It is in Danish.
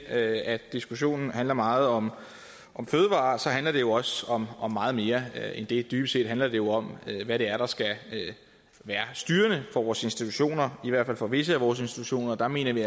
at diskussionen handler meget om fødevarer så handler det jo også om om meget mere end det dybest set handler det jo om hvad det er der skal være styrende for vores institutioner i hvert fald for visse af vores institutioner og der mener vi